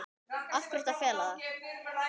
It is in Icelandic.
Af hverju að fela það?